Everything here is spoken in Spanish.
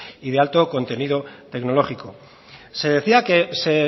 y de alto contenido tecnológico se decía que se